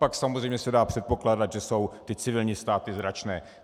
Pak samozřejmě se dá předpokládat, že jsou ty civilní ztráty značné.